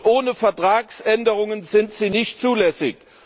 Ohne Vertragsänderungen sind sie nicht zulässig.